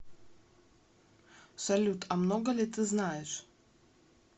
салют а много ли ты знаешь